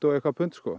pund og